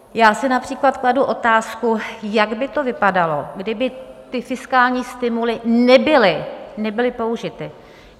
Já si například kladu otázku, jak by to vypadalo, kdyby ty fiskální stimuly nebyly použity.